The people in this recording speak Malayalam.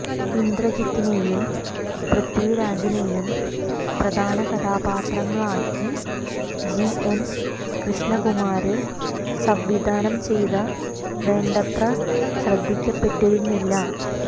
ഇന്ദ്രജിത്തിനെയും പൃഥ്വിരാജിനെയും പ്രധാന കഥാപാത്രങ്ങളാക്കി ജീ എന് കൃഷ്ണകുമാര് സംവിധാനം ചെയ്ത വേണ്ടത്ര ശ്രദ്ധിക്കപ്പെട്ടിരുന്നില്ല